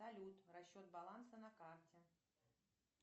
салют расчет баланса на карте